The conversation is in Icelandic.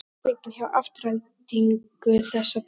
Hvernig er stemmningin hjá Aftureldingu þessa dagana?